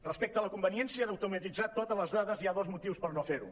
respecte a la conveniència d’automatitzar totes les dades hi ha dos motius per no fer·ho